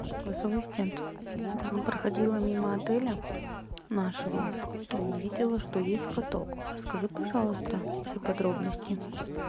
голосовой ассистент проходила мимо отеля нашего и видела что есть каток расскажи пожалуйста все подробности